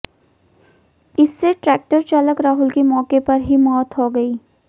इससे ट्रैक्टर चालक राहुल की मौके पर ही मौत हो गई